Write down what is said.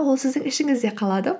ол сіздің ішіңізде қалады